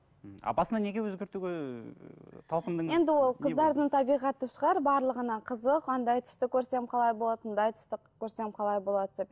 а басында неге өзгертуге енді ол қыздардың табиғаты шығар барлығына қызық андай түсті қалай болады мұндай түсті көрсем қалай болады деп